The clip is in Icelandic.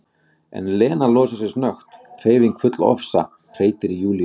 En Lena losar sig snöggt, hreyfing full ofsa, hreytir í Júlíu